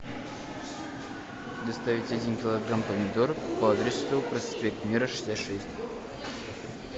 доставить один килограмм помидор по адресу проспект мира шестьдесят шесть